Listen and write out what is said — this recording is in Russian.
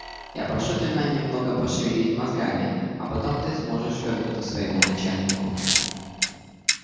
я прошу тебя немного пошевелить мозгами а потом ты сможешь вернуть к своему начальнику